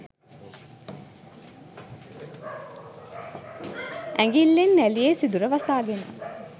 ඇඟිල්ලෙන් නැළියේ සිදුර වසාගෙන